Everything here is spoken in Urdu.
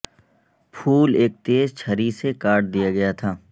پھول ایک تیز چھری سے کاٹ دیا گیا تھا